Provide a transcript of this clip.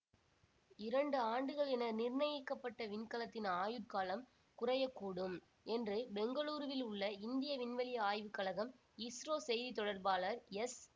இரண்டு ஆண்டுகள் என நிர்ணயிக்க பட்ட விண்கலத்தின் ஆயுட்காலம் குறைய கூடும் என்று பெங்களூருவில் உள்ள இந்திய விண்வெளி ஆய்வு கழகம் இஸ்ரோ செய்தி தொடர்பாளர் எஸ்